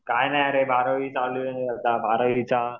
काय नाही अरे बारावी चालू आहे बारावीचा